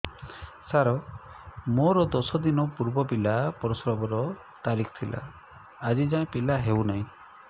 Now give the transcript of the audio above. ସାର ମୋର ଦଶ ଦିନ ପୂର୍ବ ପିଲା ପ୍ରସଵ ର ତାରିଖ ଥିଲା ଆଜି ଯାଇଁ ପିଲା ହଉ ନାହିଁ